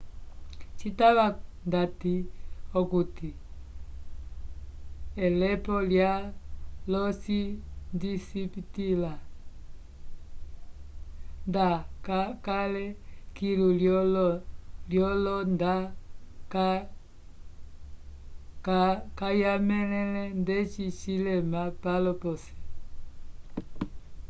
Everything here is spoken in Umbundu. citava ndati okuti elepo lya io cindipitĩla nda cakale kilu lyo io nda kayalemẽle ndeci cilema palo posi